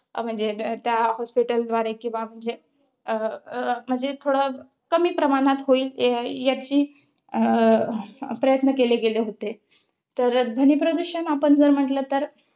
अं म्हणजे ते त्या hospital द्वारे, किंवा म्हणजे अं म्हणजे थोडं कमी प्रमाणात होईल याची अं प्रयत्न केले गेले होते. तर ध्वनीप्रदूषण आपण जर म्हंटल तर